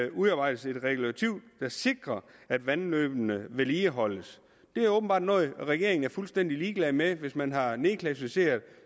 udarbejdes et regulativ der sikrer at vandløbene vedligeholdes det er åbenbart noget regeringen er fuldstændig ligeglad med hvis man har nedklassificeret